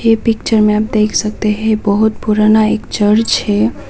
ये पिक्चर में आप देख सकते हैं बहोत पुराना एक चर्च हैं।